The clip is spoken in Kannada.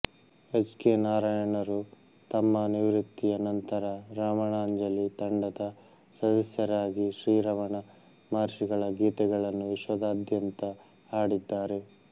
ಎಚ್ ಕೆ ನಾರಾಯಣರು ತಮ್ಮ ನಿವೃತ್ತಿಯ ನಂತರ ರಮಣಾಂಜಲಿ ತಂಡದ ಸದಸ್ಯರಾಗಿ ಶ್ರೀರಮಣ ಮಹರ್ಷಿಗಳ ಗೀತೆಗಳನ್ನು ವಿಶ್ವದಾದ್ಯಂತ ಹಾಡಿದ್ದಾರೆ